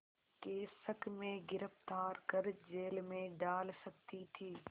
के शक में गिरफ़्तार कर जेल में डाल सकती थी